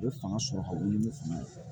U bɛ fanga sɔrɔ ka wuli ni fanga ye